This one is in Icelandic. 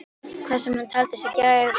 Hvað sem hann taldi sig græða á því.